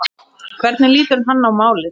Hvernig lítur hann á málið?